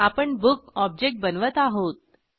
आपण book object बनवत आहोत